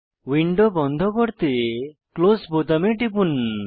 window বন্ধ করতে close বোতামে টিপুন